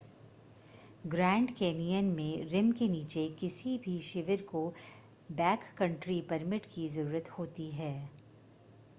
grand Canyon में rim ​​के नीचे किसी भी शिविर को बैककंट्री परमिट की ज़रूरत होती है